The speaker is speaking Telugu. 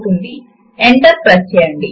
మొదటిది పైన ఉన్న వ్రైటర్ ఏరియా